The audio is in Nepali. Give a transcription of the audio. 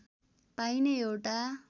पाइने एउटा